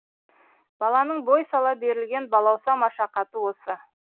баланың бой сала берілген балауса машақаты осы